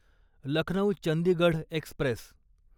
Lucknow Chandigarh Express